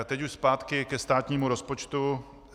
A teď už zpátky ke státnímu rozpočtu.